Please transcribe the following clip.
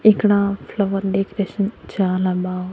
ఇక్కడ flower decoration చాలా బాగుంది.